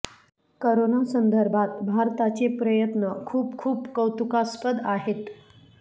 corona संदर्भात भारताचे प्रयत्न खुप खुप कौतुकास्पद आहेत